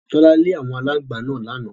Tọ́lá lé àwọn aláǹgbá náà lánàá.